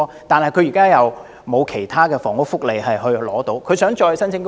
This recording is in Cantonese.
然而，他現時未能享有其他房屋福利，又不可能再申請公屋。